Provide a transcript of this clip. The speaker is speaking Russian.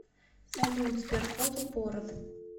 салют сберкот упорот